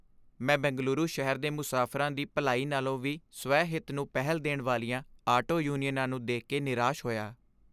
ਮੈਂ ਬੇਂਗਲੁਰੂ ਸ਼ਹਿਰ ਦੇ ਮੁਸਾਫਰਾਂ ਦੀ ਭਲਾਈ ਨਾਲੋਂ ਵੀ ਸਵੈ ਹਿੱਤ ਨੂੰ ਪਹਿਲ ਦੇਣ ਵਾਲੀਆਂ ਆਟੋ ਯੂਨੀਅਨਾਂ ਨੂੰ ਦੇਖ ਕੇ ਨਿਰਾਸ਼ ਹੋਇਆ